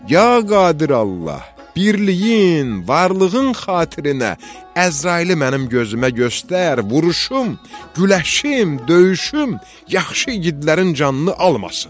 Ya Qadir Allah, birliyin, varlığın xatirinə Əzraili mənim gözümə göstər, vuruşum, güləşim, döyüşüm, yaxşı igidlərin canını almasın.